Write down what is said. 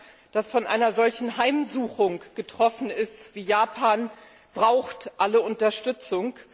Ein Land, das von einer solchen Heimsuchung getroffen wird wie Japan, braucht alle Unterstützung.